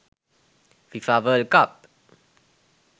fifa world cup